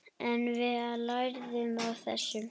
En við lærum af þessu.